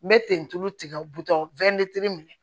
N bɛ ten tulu tigɛ butɔn minɛ